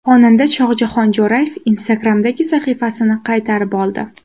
Xonanda Shohjahon Jo‘rayev Instagram’dagi sahifasini qaytarib oldi.